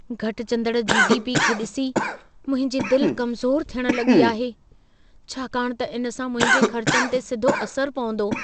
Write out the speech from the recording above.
घटिजंदड़ GDP खे ॾिसी मुंहिंजी दिलि कमज़ोर थियण लॻी आहे, छाकाणि त इन सां मुंहिंजे ख़र्चनि ते सिधो असर पवंदो।